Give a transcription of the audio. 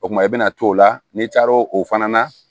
O kumana i bɛna to o la n'i taara o fana na